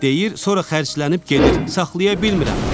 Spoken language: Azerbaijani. Deyir sonra xərclənib gedir, saxlaya bilmirəm.